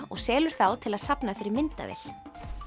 og selur þá til þess að safna fyrir myndavél